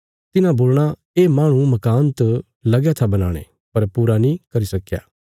तिन्हां बोलणा ये माहणु मकान त लगया था बनाणे पर पूरा नीं करी सक्क्या